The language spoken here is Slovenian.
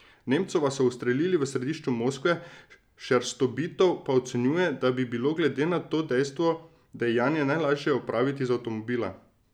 Nemcova so ustrelili v središču Moskve, Šerstobitov pa ocenjuje, da bi bilo glede na to dejstvo dejanje najlažje opraviti iz avtomobila.